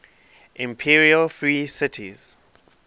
imperial free cities